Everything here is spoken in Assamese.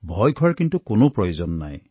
ভয় কৰাৰ কোনো প্ৰয়োজন নাই